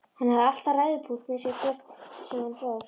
Hann hafði alltaf ræðupúlt með sér hvert sem hann fór.